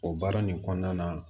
O baara nin kɔnɔna na